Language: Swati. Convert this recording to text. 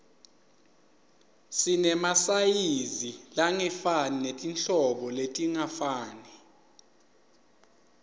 sinemasayizi langefani netinhlobo letingafani